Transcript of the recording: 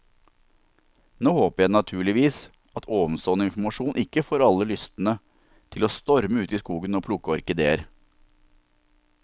Nå håper jeg naturligvis at ovenstående informasjon ikke får alle lystne til å storme ut i skogen og plukke orkideer.